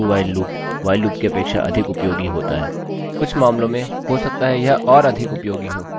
अतः इसका अभ्यास करिए और कुछ मान रख कर देखिये इसके साथ ही मैंने तुरंत जो प्रोग्राम बनाया है उसे पुनः बनाने की कोशिश करिए